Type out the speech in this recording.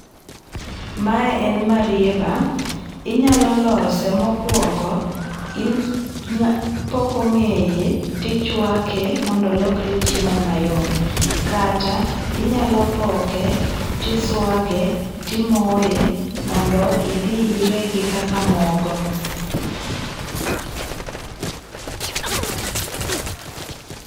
Ma en marieba, inyalo lose mokuongo ipoke ng'eye ti ichwake mondo olokre chiemo mayom, kata inyalo poke ti iswage ti imoye mondo idhi irege kaka mogo.